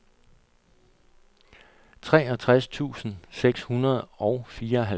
treogtres tusind seks hundrede og fireoghalvfjerds